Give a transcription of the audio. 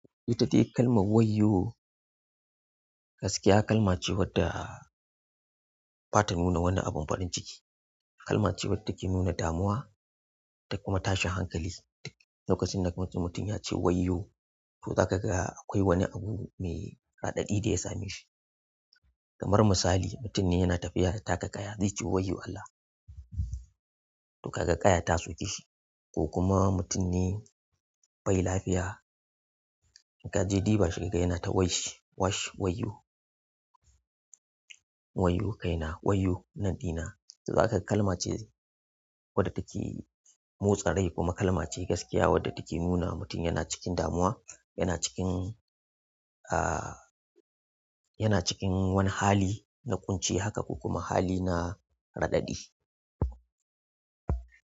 Ita take kalmar wayiyo gaskiya kalma ce wadda ba ta nuna wani abun farin ciki. Kalma ce wadda take nuna damuwa, ta kuma tashin hankali. Lokacin da mutum ya ce wayiyo, to zaka ga akwai wani abu mai raɗaɗi da ya same shi. Kamar misali, mutum ne yana tafiya da taka kaya zai ce wayyo Allah! To kaga ƙaya ta soke shi. Ko kuma mutum ne bai lafiya, ka je ɗiba shi ka ga yana ta washi, washi wayyo! Wayyo kaina, wayyo nanɗina. To zakaga kalma ce wadda take motsa rai kuma kalma ce gaskiya wadda take nunawa mutum yana cikin damuwa yana cikin ah yana cikin wani hali na ƙunci haka kokuma wani hali na raɗaɗi.